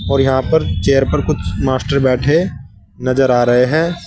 और यहां पर चेयर पर कुछ मास्टर बैठे नजर आ रहे हैं।